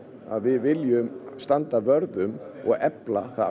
við viljum standa vörð um og efla það